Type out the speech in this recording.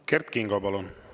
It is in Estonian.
Kert Kingo, palun!